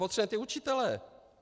Potřebujeme ty učitele.